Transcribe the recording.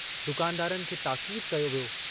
दुकानदारनि खे ताकीदु कयो वियो।